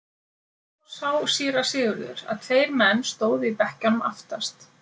Þá sá síra Sigurður að tveir menn stóðu í bekkjunum aftast.